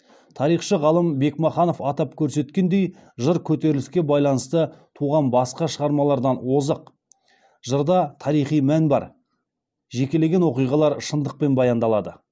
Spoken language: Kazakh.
тарихшы ғалым бекмаханов атап көрсеткендей жыр көтеріліске байланысты туған басқа шығармалардан озық жырда тарихи мән бар жекелеген оқиғалар шындықпен баяндалады